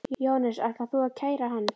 Jóhannes: Ætar þú að kæra hann?